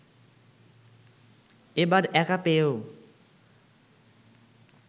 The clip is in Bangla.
এবার একা পেয়েও